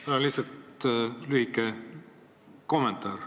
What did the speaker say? Mul on lihtsalt lühike kommentaar.